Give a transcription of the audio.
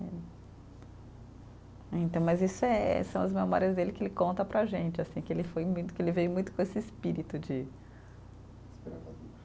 Então, mas isso é, são as memórias dele que ele conta para a gente, assim, que ele foi muito, que ele veio muito com esse espírito de. Desbravador.